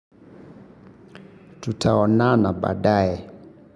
Tutaonana baadaye.